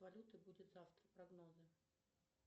валюты будет завтра прогнозы